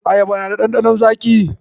Ayaba na da ɗanɗanon zaƙi.